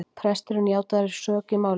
Presturinn játaði sök í málinu